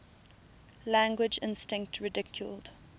language instinct ridiculed